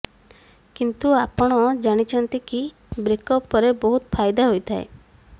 କିନ୍ତୁ ଆପଣ ଜାଣିଛନ୍ତି କି ବ୍ରେକ୍ ଅପ୍ ପରେ ବହୁତ ଫାଇଦା ହୋଇଥାଏ